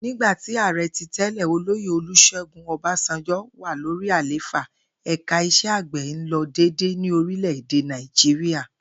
Nígbà tí àre̩ tí tẹ́lẹ̀, Olóyè Olus̩é̩gún O̩básanjó̩ wà lórí àlééfà, ẹ̀ka is̩e̩ àgbè̩ ń lo̩ dédé ní orílè̩-èdè Nàìjíríà